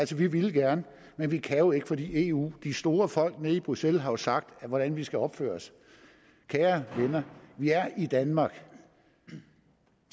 vi ville gerne men vi kan jo ikke fordi eu de store folk nede i bruxelles har sagt hvordan vi skal opføre os kære venner vi er i danmark